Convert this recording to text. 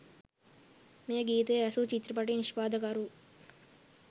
මේ ගීතය ඇසූ චිත්‍රපට නිෂ්පාදකවරු